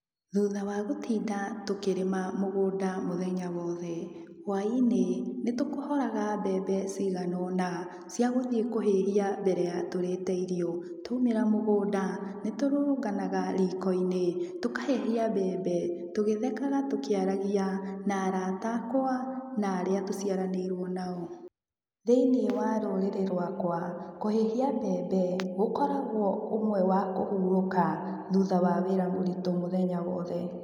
Thutha wa gũtinda tũkĩrĩma mũgũnda mũthenya wothe, hwai-inĩ, nĩ tũkohoraga mbembe ciganona, cia gũthiĩ kũhĩhia mbere ya tũrĩte irio. Twaumĩra mũgũnda, nĩ tũrũrũnganaga riko-inĩ, tũkahĩhia mbembe, tũgĩthekaga tũkĩaragia, na arata akwa, na arĩa tũciaranĩirwo nao. Thĩiniĩ wa rũrĩrĩ rwakwa, kũhĩhia mbembe gũkoragwo ũmwe wa kũhũrũka thutha wa wĩra mũritũ mũthenya wothe.